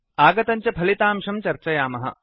आगतं च फलितांशं चर्चयामः